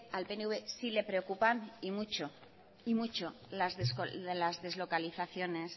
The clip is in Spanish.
al pnv sí le preocupan y mucho las deslocalizaciones